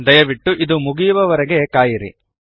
ದಯವಿಟ್ಟು ಇದು ಮುಗಿಯುವ ವರೆಗೆ ಕಾಯಿರಿ